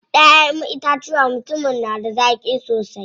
Ƴaʼƴen itacuwan mutumin na da zaƙi sosai.